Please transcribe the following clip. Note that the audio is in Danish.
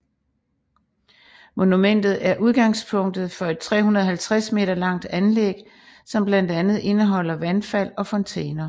Monumentet er udgangspunktet for et 350 meter langt anlæg som blandt andet indeholder vandfald og fontæner